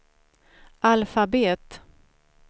alfabet